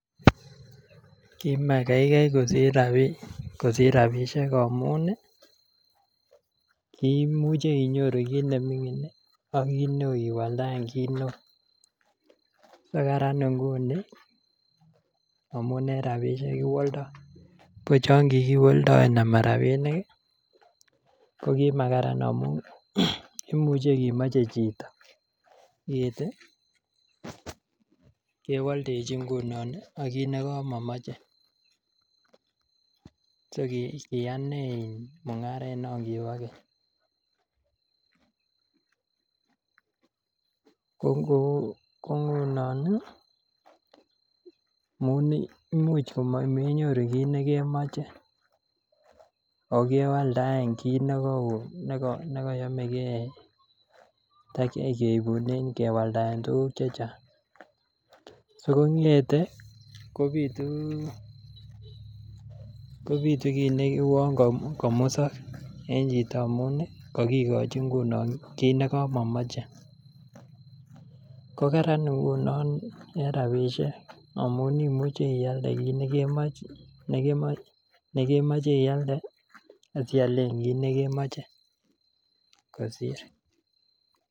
Kimakaikai kosir rabinik amun kiimuche inyoru kit nemingin ak iwaldaen kit neo so kararan inguni kiwaldo ko chon kikiwaldoen ama rabinik ko ki makararan amun imuche komoche chito kit kewoldechi ak kit nekamakomoche so kiyaa inei mungaret non kibo keny ko ngunon Imuch komenyoru kit nekemoche ako kewaldaen kit nekaoo ne kayomege kewaldaen tuguk Che Chang si kongete kobitu kit neuon komusok en chito amun kagigochi nguno kit nekamo moche ko Kararan ngunon en rabisiek amun imuche ialde kit nekemoche ialde asi ialen kit nekemoche kosir